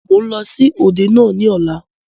Mo ń lọ sí òde náà ni ọ̀la.